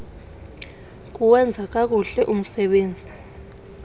kuwenza kakuhle umsebenzi